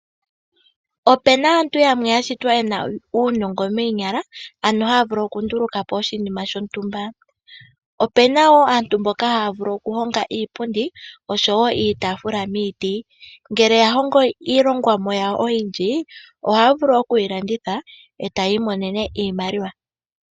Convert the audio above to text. Opu na aantu yamwe ya shitwa ye na uunongo moonyala, ano haya vulu okunduluka po oshinima shontumba. Opu na wo aantu mboka haya vulu okuhonga iipundi, osho wo iitaafula miiti. Ngele ya hongo iilongomwa yawo oyindji, ohaya vulu okuyi landitha, e taya imonene iimaliwa.